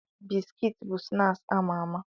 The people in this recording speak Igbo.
Bisikiti bụ snaaksi ama ama.